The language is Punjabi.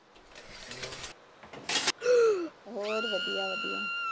ਹੋਰ ਵਧੀਆ ਵਧੀਆ ।